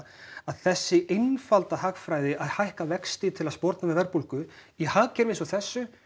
að þessi einfalda hagfræði að hækka vexti til að sporna við verðbólgu í hagkerfi eins og þessu